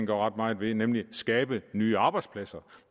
gør ret meget ved nemlig skabe nye arbejdspladser